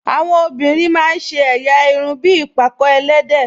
Àwọn obìnrin máa ń ṣe ẹ̀yà irun bí ìpàkọ́ ẹlẹ́dẹ̀